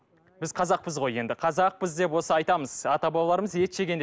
біз қазақпыз ғой енді қазақпыз деп осы айтамыз ата бабаларымыз ет жеген деп